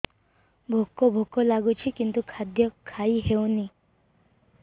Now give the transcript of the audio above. ଭୋକ ଭୋକ ଲାଗୁଛି କିନ୍ତୁ ଖାଦ୍ୟ ଖାଇ ହେଉନି